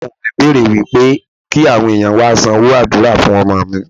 Ìmámúù mi bèrè wípé kí àwọn ẹ̀yàn wá sanwó àdúrà fún ọmọ mi.